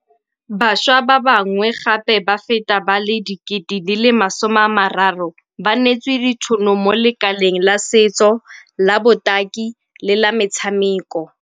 Bašwa ba bangwe gape ba feta ba le 30 000 ba neetswe ditšhono mo lekaleng la setso, la botaki le la metshameko.